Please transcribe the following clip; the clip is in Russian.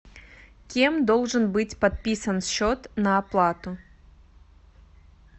кем должен быть подписан счет на оплату